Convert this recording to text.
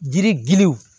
Jiri giliw